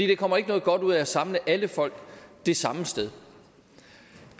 der kommer ikke noget godt ud af at samle alle folk det samme sted